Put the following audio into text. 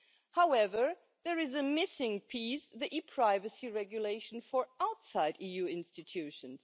However, there is a missing piece the e privacy regulation for outside the EU institutions.